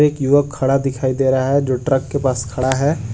एक युवक खड़ा दिखाई दे रहा है जो ट्रक के पास खड़ा है।